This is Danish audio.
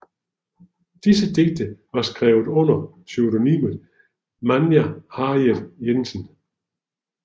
Disse digte var skrevet under pseudonymet Manja Harriet Jensen